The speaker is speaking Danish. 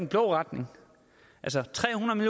blå retning altså tre hundrede